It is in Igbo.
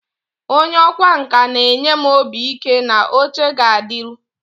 onye ọkwá nkà na-enye m obi ike na oche a ga-adịru